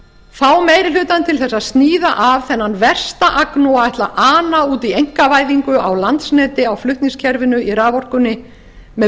fá meiri hlutann til þess að sníða af þennan versta agnúa að ætla að ana út í einkavæðingu á landsneti á flutningskerfinu á raforkunni með